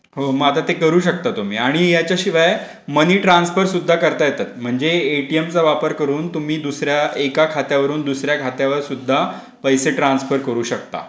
हो मग आता ते करू शकता तुम्ही आणि याच्या शिवाय मनी ट्रान्सफर सुद्धा करता येतं. म्हणजे एटीएम चा वापर करून तुम्ही दुसऱ्या एका खात्यावरून दुसऱ्या खात्यावर सुद्धा पैसे ट्रान्सफर करू शकता.